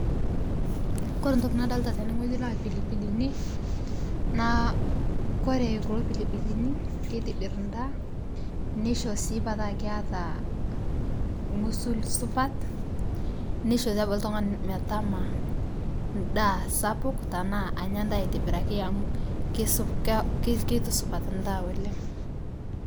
Kore ntoki nadolita tenee naa lpilipilini naa kore kuloo pilipilini keitibir ndaa neisho sii petaa keata ng'usul supat neishoo sii abaki ltung'ani metamaa ndaa sapuk tanaa anya ndaa aitibiraki amu keitusupat ndaa oleng'.